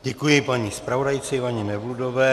Děkuji, paní zpravodajce Ivaně Nevludové.